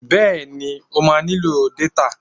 Bẹ́ẹ̀ni, o máa nílò détà